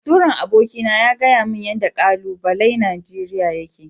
Baturen aboki na ya gayamin yanda kalubalai Nigeria yake.